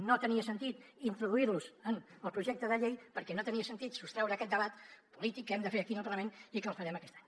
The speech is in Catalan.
no tenia sentit introduir los en el projecte de llei perquè no tenia sentit sostreure aquest debat polític que hem de fer aquí en el parlament i que el farem aquest any